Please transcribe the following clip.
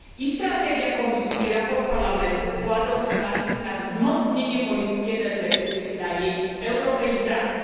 Strategia Komisji i sprawozdanie Parlamentu kładą też nacisk na wzmocnienie polityki energetycznej, na jej europeizację.